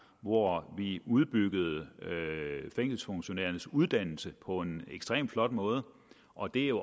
hvor vi udbyggede fængselsfunktionærernes uddannelse på en ekstremt flot måde og det er jo